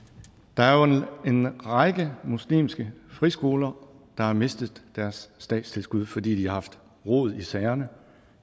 der er jo en række muslimske friskoler der har mistet deres statstilskud fordi de har haft rod i sagerne